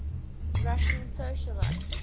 russian socialites